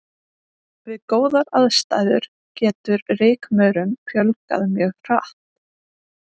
Við góðar aðstæður getur rykmaurum fjölgað mjög hratt.